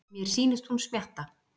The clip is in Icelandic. Mér sýnist hún smjatta.